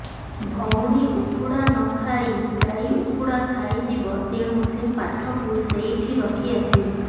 ଭଉଣୀ ଉଖୁଡ଼ା ନ ଖାଇ ଗାଈ ଉଖୁଡ଼ା ଖାଇଯିବ ତେଣୁ ସେ ପାଠକୁ ସେଇଠି ରଖି ଆସିବୁ